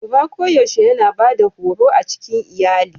Uba koyaushe yana Bada horo a cikin iyalilin.